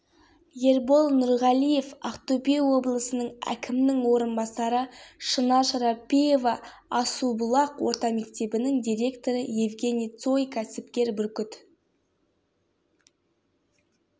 тек мемлекеттен алу ғана емес мемлекетке қайтару деген бар қазақстаннан шыққан миллионерлер мен миллиардерлер аз емес